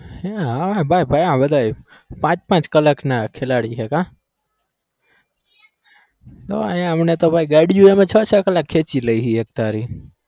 હમ ભાઈ, ભાઈ પાંચ-પાંચ કલાકના ખેલાડી છે કા? હા અહિયાં અમને તો ભાઈ ગાડીઓ અમે છ-છ કલાક ખેચી લઈએ છીએ એક ધારી